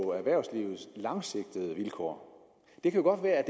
på erhvervslivets langsigtede vilkår det kan godt være